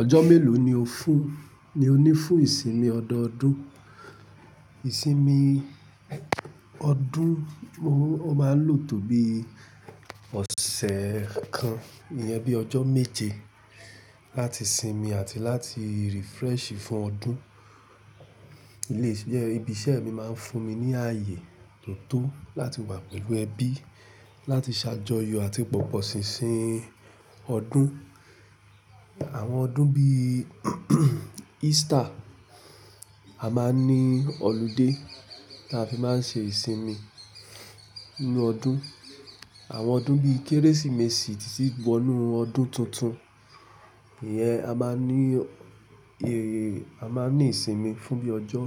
Ọjọ́ mélòó ni o fún, ni o ní fún ìsinmi ọdọọdún? Ìsinmi ọdún mo, oo máa ń lò tó bí ọ̀sẹ̀ kan, iyẹn bí ọjọ́ méje láti sinmi àti láti refresh fún ọdún. Ilé iṣẹ́, ibi iṣẹ́ mi máa ń fún mi ní ayé tó tó láti wà pẹ̀lú ẹbí, láti ṣàjọyọ̀ àti pọ̀pọ̀ ṣinṣin ọdún. Àwọn ọdún bí Easter, a máa ní ọludé tí a fi máa ń ṣe ìsinmi nínú ọdún. Àwọn ọdún bí Kérésìmesì tí tí wo inú ọdún tuntun, ìyẹn a máa ní, e, a máa ní ìsinmi fún bí ọjọ́